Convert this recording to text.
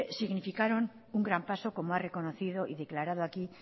significaron un gran paso como ha reconocido y declarado aquí